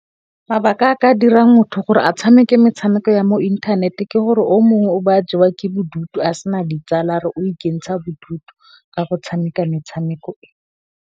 Mabaka a ka dira motho gore a tshameke metshameko ya mo inthaneteng, ke gore o mongwe o ba jewa ke bodutu a sena ditsala a re o ikentsha bodutu ka go tshameka metshameko ee.